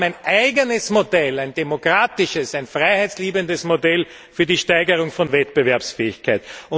Wir haben ein eigenes Modell, ein demokratisches, ein freiheitsliebendes Modell für die Steigerung von Wettbewerbsfähigkeit.